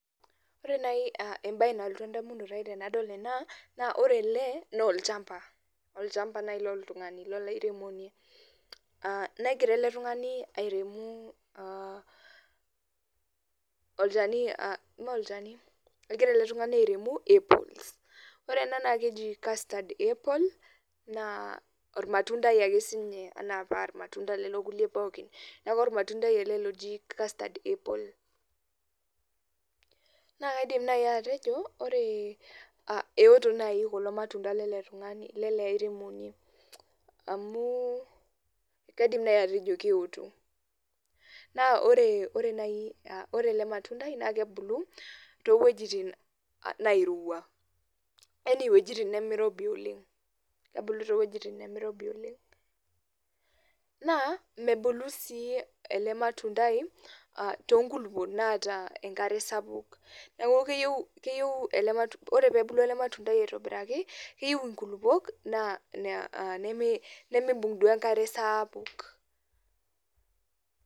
Ore nai ebae nalotu edamunoto ai tenadol ena, naa ore ele, nolchamba. Olchamba nai loltung'ani, lolairemoni. Negira ele tung'ani airemu olchani molchani, egira ele tung'ani airemi, apples. Ore ena na keji casted apples, naa ormatuntai ake sinye anaa parmatunda lelo kulie pookin. Neeku ormatuntai ele loji casted apple. Na kaidim nai atejo, ore eoto nai kulo matunda lele tung'ani lele airemoni. Amu kaidim nai atejo keoto. Na ore ore nai, ore ele matundai na kebulu, towuejiting nairowua. Yani wojiting nimirobi oleng. Kebulu towuejiting nemirobi oleng. Naa, mebulu si ele matundai, tonkulukuok naata enkare sapuk, neeku keyieu ele matundai ore pebulu ele matundai aitobiraki, keyieu inkulupuok nemeibung' duo enkare saapuk.